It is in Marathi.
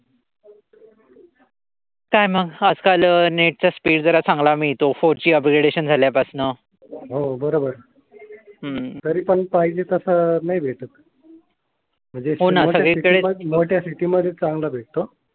हो बरोबर आहे. तरी पण पाहिजे तसं नाही भेटत म्हणजे मोठ्या सीटी मध्ये चांगला भेटतो.